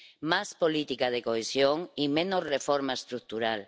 Más política de cohesión y menos reforma estructural.